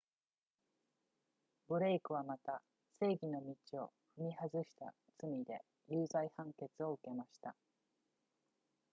ブレイクはまた正義の道を踏み外した罪で有罪判決を受けました